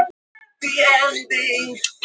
Var það ekki hans hlutverk?